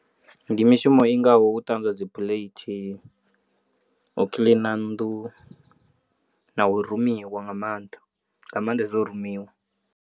Ndi mishumo i ngaho u ṱanzwa dzi phuleithi, u kiḽina nnḓu na u rumiwa nga maanḓa nga maanḓa u rumiwa.